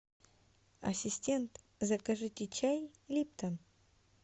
ассистент закажите чай липтон